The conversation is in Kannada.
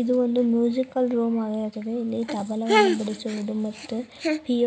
ಇದು ಒಂದು ಮ್ಯೂಸಿಕಲ್ ರೂಮ್ ಆಗಿರುತ್ತದೆ ಇಲ್ಲಿ ತಬಲವನ್ನು ಬಡಿಸುವುದು ಮತ್ತೆ